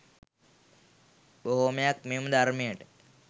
බොහෝමයක් මෙම ධර්මයට